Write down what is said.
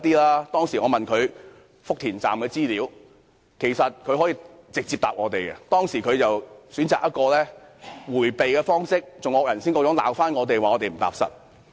我當時問他福田站的資料，他可直接回答我們，但他卻選擇迴避，還"惡人先告狀"罵我們不踏實。